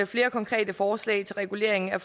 flere konkrete forslag til regulering af